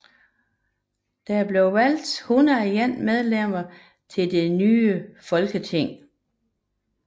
Der blev valgt 101 medlemmer til det nye folketing